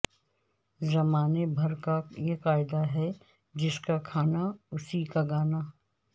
زمانے بھر کایہ قاعدہ ہے جسکا کھانا اسی کا گانا